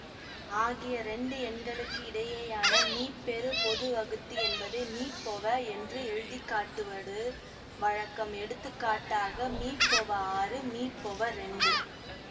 ஆகிய இரண்டு எண்களுக்கு இடையேயான மீப்பெரு பொது வகுத்தி என்பதை மீபொவ என்று எழுதிக்காட்டுவடு வழக்கம் எடுத்துக்காட்டாக மீபொவ ஆறு மீபொவஇரண்டு